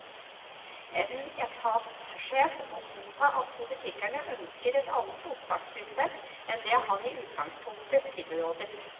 En etatssjef må godta at politikerne ønsker et annet opptakssystem enn det han i utgangspunktet tilrådet.